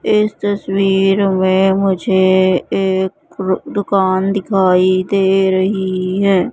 इस तस्वीर में मुझे एक रु दुकान दिखाई दे रही है।